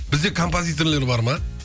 бізде композиторлар бар ма